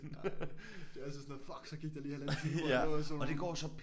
Nej det er altid sådan noget fuck så gik der lige halvanden time hvor jeg lå og zonede ud